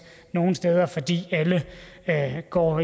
nogen steder fordi alle går